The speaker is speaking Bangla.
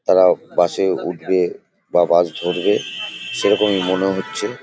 তারা বাস -এ উঠবে বা বাস ধরবে সেরকমই মনে হচ্ছে।